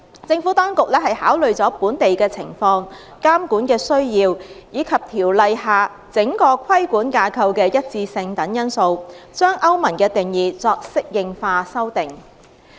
政府當局考慮了本地的情況、監管的需要，以及《條例》下整個規管架構的一致性等因素，將歐盟的定義作適應化修訂。